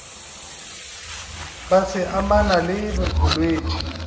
be se amana le bolwetši